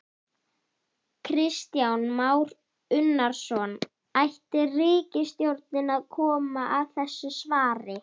Kristján Már Unnarsson: Ætti ríkisstjórnin að koma að þessu svari?